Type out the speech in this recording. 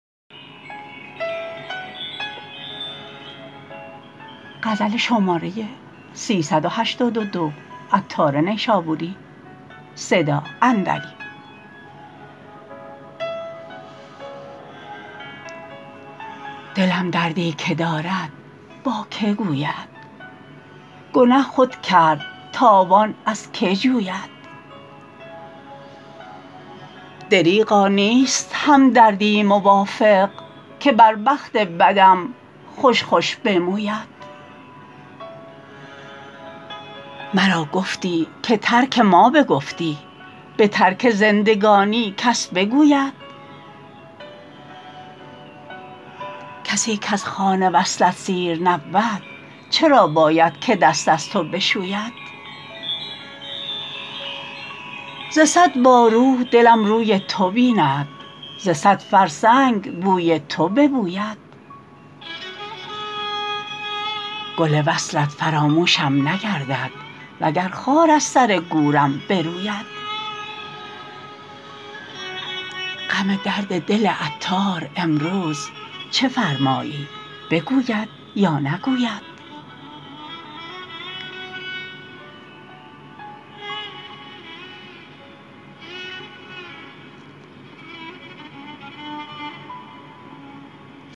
دلم دردی که دارد با که گوید گنه خود کرد تاوان از که جوید دریغا نیست همدردی موافق که بر بخت بدم خوش خوش بموید مرا گفتی که ترک ما بگفتی به ترک زندگانی کس بگوید کسی کز خوان وصلت سیر نبود چرا باید که دست از تو بشوید ز صد بارو دلم روی تو بیند ز صد فرسنگ بوی تو ببوید گل وصلت فراموشم نگردد وگر خار از سر گورم بروید غم درد دل عطار امروز چه فرمایی بگوید یا نگوید